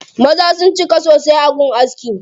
Maza sun cika sosai a gun askin.